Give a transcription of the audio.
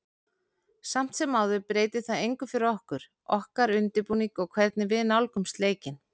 Samt sem áður breytir það engu fyrir okkur, okkar undirbúning og hvernig við nálgumst leikinn.